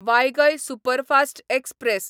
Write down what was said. वायगय superfast express